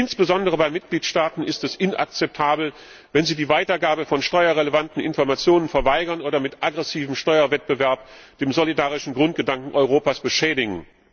Insbesondere bei Mitgliedstaaten ist es inakzeptabel, wenn sie die Weitergabe von steuerrelevanten Informationen verweigern oder mit aggressivem Steuerwettbewerb den solidarischen Grundgedanken Europas beschädigen.